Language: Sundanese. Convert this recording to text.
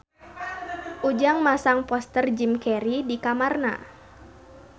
Ujang masang poster Jim Carey di kamarna